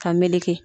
Ka meleke